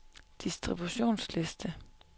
distributionsliste